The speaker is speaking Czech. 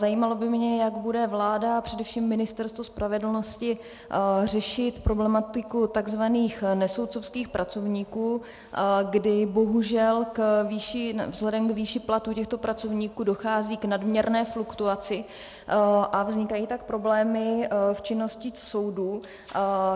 Zajímalo by mě, jak bude vláda a především Ministerstvo spravedlnosti řešit problematiku tzv. nesoudcovských pracovníků, kdy bohužel vzhledem k výši platů těchto pracovníků dochází k nadměrné fluktuaci a vznikají tak problémy v činnosti soudů.